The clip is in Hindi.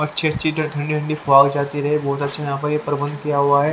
अच्छी अच्छी ठंडी ठंडी फवाए चलती रहे बहोत अच्छा यहां पर यह प्रबंध किया हुआ है।